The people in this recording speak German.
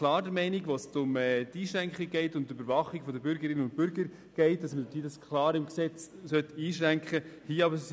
Wenn es um die Überwachung der Bürgerinnen und Bürger geht, sind wir ganz klar der Meinung, dass diese im Gesetz eingeschränkt werden soll.